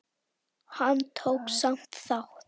Hann tók samt þátt.